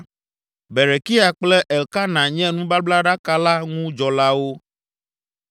Berekia kple Elkana nye nubablaɖaka la ŋu dzɔlawo.